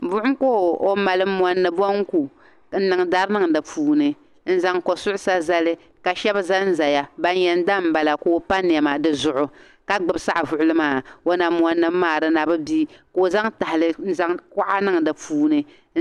Buɣum ka o mali m mondi bonku n niŋ dari niŋ di puuni n zaŋ kosuɣusa zali ka sheba zanzaya ban yen da m bala ka o pa niɛma dizuɣu a gbibi saɣavuɣuli maa o na mondi mi maa di na bibi ka o zaŋ tahali n zaŋ kuɣa niŋ dipuuni.